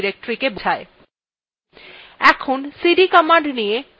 এখন cd command নিয়ে সংক্ষেপে আলোচনা করা যাক